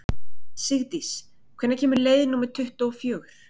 Sigdís, hvenær kemur leið númer tuttugu og fjögur?